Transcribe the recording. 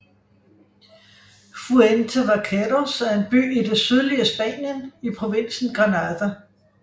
Fuente Vaqueros er en by i det sydlige Spanien i provinsen Granada